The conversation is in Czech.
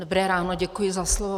Dobré ráno, děkuji za slovo.